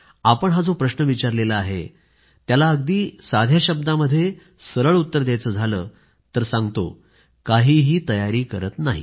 आपण जो प्रश्न विचारला आहे त्याला अगदी साध्या शब्दामध्ये सरळ उत्तर द्यायचं झालं तर सांगतो काहीही तयारी करीत नाही